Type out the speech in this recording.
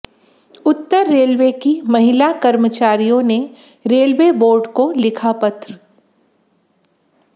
उत्तर railway की महिला कर्मचारियों ने रेलवे बोर्ड को लिखा पत्र